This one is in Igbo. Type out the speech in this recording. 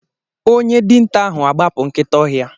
Onye dinta ahu agbapụ nkịta ọhịa.